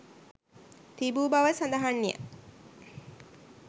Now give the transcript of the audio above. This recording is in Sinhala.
තිබූ බවද සඳහන්ය.